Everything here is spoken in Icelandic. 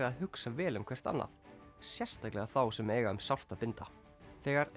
að hugsa vel um hvert annað sérstaklega þá sem eiga um sárt að binda þegar